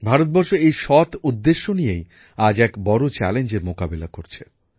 ভারতবর্ষ এই সৎ উদ্দেশ্য নিয়েই আজ এক বড় চ্যালেঞ্জের মোকাবিলা করছে